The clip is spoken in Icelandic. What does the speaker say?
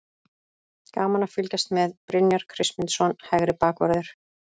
Gaman að fylgjast með: Brynjar Kristmundsson, hægri bakvörður.